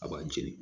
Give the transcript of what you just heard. A b'a jeni